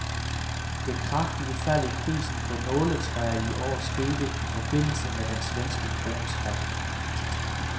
Det kraftige fald i prisen på nåletræ i år skete i forbindelse med den svenske krones fald.